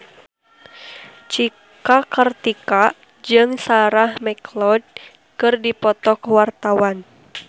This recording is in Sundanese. Cika Kartika jeung Sarah McLeod keur dipoto ku wartawan